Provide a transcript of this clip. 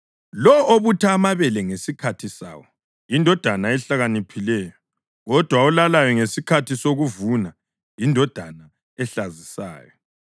Lowo obutha amabele ngesikhathi sawo yindodana ehlakaniphileyo, kodwa olalayo ngesikhathi sokuvuna yindodana ehlazisayo.